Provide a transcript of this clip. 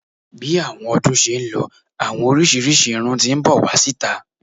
Bi àwọn ọdún ṣe ń lọ, àwọn oríṣiríṣi irún ti n bọ wá síta.